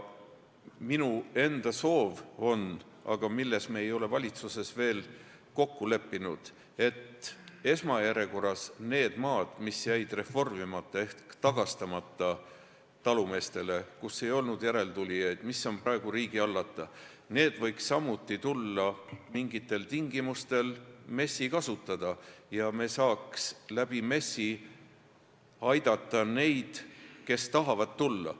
Minu enda soov on – aga selles me ei ole valitsuses veel kokku leppinud – et esmajärjekorras need maad, mis jäid reformimata ehk talumeestele tagastamata, kui ei olnud järeltulijaid, mis on praegu riigi hallata, võiks samuti tulla mingitel tingimustel MES-i kasutada ja me saaks MES-i kaudu aidata neid, kes tahavad maale tulla.